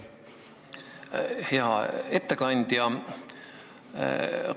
Hea ettekandja!